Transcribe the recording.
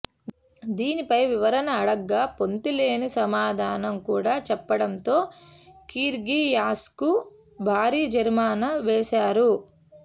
దీనిపై వివరణ అడగ్గా పొంతనలేని సమాధానం కూడా చెప్పడంతో కిర్గియోస్కు భారీ జరిమానా వేశారు